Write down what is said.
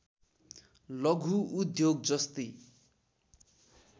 लघु उद्योग जस्तै